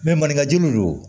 maninkaju do